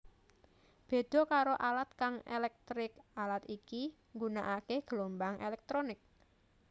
Béda karo alat kang éléktrik alat iki nggunakaké gelombang éléktronik